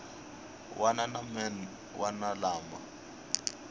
wana na man wana lama